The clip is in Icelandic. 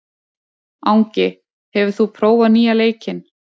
Angi, hefur þú prófað nýja leikinn?